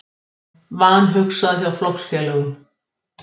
Vanhugsað hjá flokksfélögum